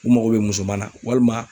U mago bɛ muso ma walima